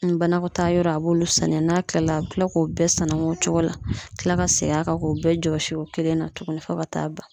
Ni banakɔtaa yɔrɔ, a b'olu sanuya n'a kilala a bɛ tila k'o bɛɛ sanuya o cogo la; ka kila ka segin a kan k'o bɛɛ jɔsi o kelen na tuguni fo ka t'a ban.